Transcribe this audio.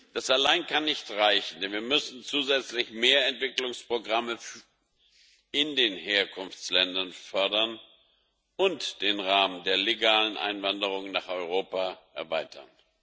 Das allein kann nicht reichen, denn wir müssen zusätzlich mehr Entwicklungsprogramme in den Herkunftsländern fördern und den Rahmen der legalen Einwanderung nach Europa erweitern.